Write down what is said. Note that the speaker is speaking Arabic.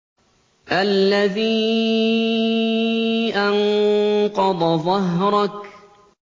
الَّذِي أَنقَضَ ظَهْرَكَ